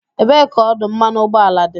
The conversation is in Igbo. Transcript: Ebee ka ọdụ mmanụ ụgbọala dị?